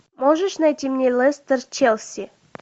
можешь найти мне лестер челси